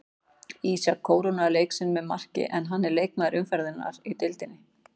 Ísak kórónaði leik sinn með marki en hann er leikmaður umferðarinnar í deildinni.